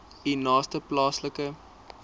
u naaste plaaslike